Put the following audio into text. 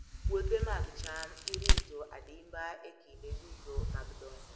Puothe mag cham irito adimba e kinde duto mag dongo.